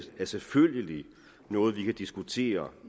selvfølgelig noget vi kan diskutere